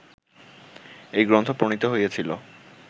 এই গ্রন্থ প্রণীত হইয়াছিল